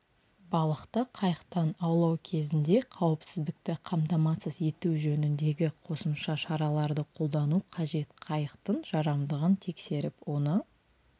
балықты қайықтан аулау кезінде қауіпсіздікті қамтамасыз ету жөніндегі қосымша шараларды қолдану қажет қайықтың жарамдығын тексеріп оны